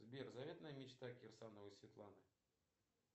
сбер заветная мечта кирсановой светланы